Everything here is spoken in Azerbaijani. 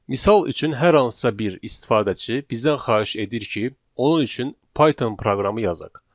Misal üçün hər hansısa bir istifadəçi bizdən xahiş edir ki, onun üçün Python proqramı yazaq.